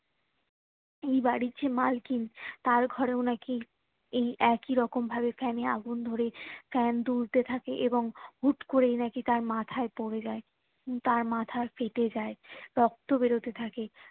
এই বাড়ির যে মালকিন তার ঘোরেও নাকি এই একইরকম ভাবে fan এ আগুন ধরে fan দুলতে থাকে এবং হুট্ করেই নাকি তার মাথায় পরে যায় তার মাথা ফেটে যায় রক্ত বেরোতে থাকে